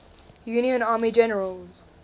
union army generals